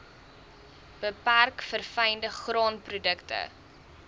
beperk verfynde graanprodukte